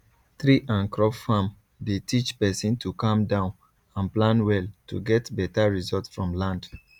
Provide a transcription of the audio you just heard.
tree and crop farm dey teach person to calm down and plan well to get better result from land